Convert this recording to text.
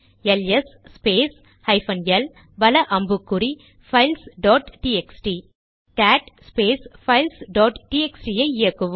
LS space hyphen L வல அம்புக்குறி files dot TXT cat space files dot TXT ஐ இயக்குவோம்